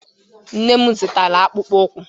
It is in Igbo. Nne m zụtara akpụkpọ ụkwụ.